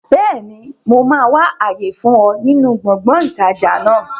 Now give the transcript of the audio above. Bẹ́ẹ̀ni, mo máa wà àyè fún ọ nínú gbọ̀ngàn ìtajà náà